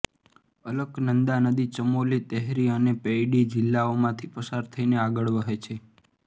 અલકનંદા નદી ચમોલી તેહરી અને પૌડી જિલ્લાઓમાંથી પસાર થઇને આગળ વહે છે